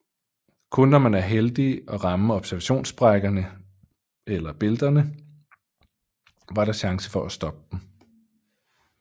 Kun når man var heldig at ramme observationssprækkerne eller eller bælterne var der chance for at stoppe dem